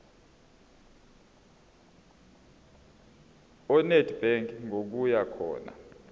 enedbank ngokuya khona